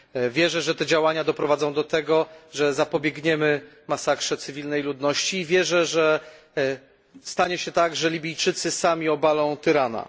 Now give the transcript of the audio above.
Wierzę, że te działania doprowadzą do tego, że zapobiegniemy masakrze cywilnej ludności, i wierzę, że stanie się tak, że Libijczycy sami obalą tyrana.